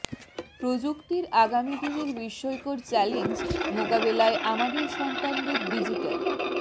প্রযুক্তির আগামী দিনের বিস্ময়কর চ্যালেঞ্জ মোকাবেলায় আমাদের সন্তানদের ডিজিটাল